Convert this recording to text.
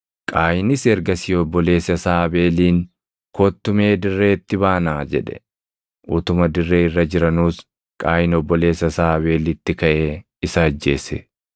Qaayinis ergasii obboleessa isaa Abeeliin, “Kottu mee dirreetti baanaa” jedhe. Utuma dirree irra jiranuus Qaayin obboleessa isaa Abeelitti kaʼee isa ajjeese.